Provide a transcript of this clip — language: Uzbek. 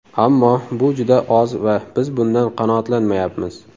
Ammo bu juda oz va biz bundan qanoatlanmayapmiz.